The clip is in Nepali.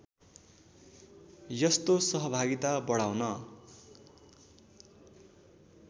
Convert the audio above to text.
यस्तो सहभागिता बढाउन